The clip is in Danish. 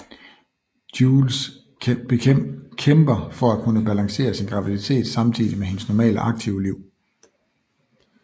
Jules kæmper for at kunne balancere sin graviditet samtidig med hendes normale aktive liv